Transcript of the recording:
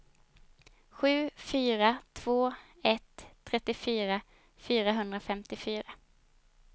sju fyra två ett trettiofyra fyrahundrafemtiofyra